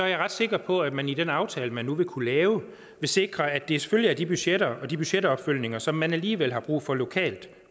jeg ret sikker på at man i den aftale man nu vil kunne lave vil sikre at det selvfølgelig er de budgetter og de budgetopfølgninger som man alligevel har brug for lokalt